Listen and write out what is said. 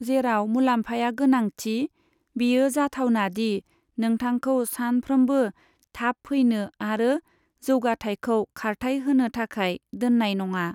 जेराव मुलाम्फाया गोनांथि, बेयो जाथावना दि नोंथांखौ सानफ्रामबो थाब फैनो आरो जौगाथाइखौ खारथाइ होनो थाखाय दोननाय नङा।